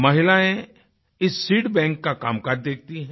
महिलाएँ इस सीडबैंक का कामकाज देखती हैं